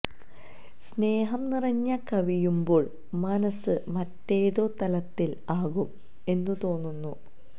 സ്നേഹം നിറഞ്ഞ കവിയുമ്പോള് മനസ്സ് മറ്റേതോ തലത്തില് ആകും എന്നു തോന്നുന്നു